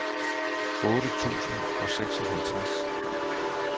otte tusind og seksoghalvtreds